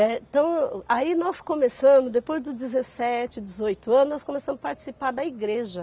Eh, Então, aí nós começamos, depois dos dezessete, dezoito anos, nós começamos a participar da igreja.